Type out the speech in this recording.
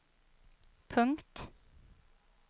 punkt